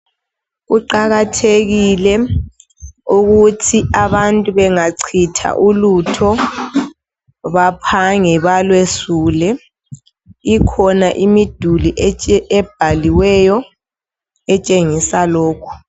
Kuqakathekile ukuthi abantu bengacitha ulutho baphange balwesule. Kukhona imiduli ebhaliweyo etshengisa lokhu.